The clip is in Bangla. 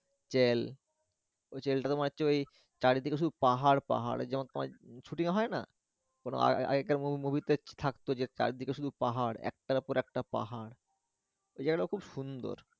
চেল, ওই চেলটার মধ্যে ওই চারদিকে শুধু পাহাড় পাহাড় যেমন তোমার shooting হয় না আগেকার movie তে থাকতো যে চারদিকে শুধু পাহাড় একটার একটা পাহাড় ওই জায়গা টা খুব সুন্দর।